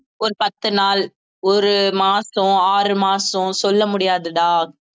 ஒரு பத்து நாள் ஒரு மாசம் ஆறு மாசம் சொல்ல முடியாதுடா